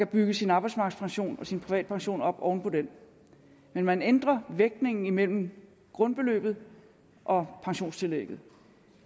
bygge sin arbejdsmarkedspension og sin privatpension op oven på den men man ændrer det er vægtningen imellem grundbeløbet og pensionstillægget